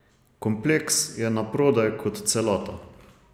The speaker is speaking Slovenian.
Kompleks je naprodaj kot celota.